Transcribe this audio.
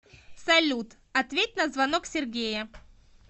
салют ответь на звонок сергея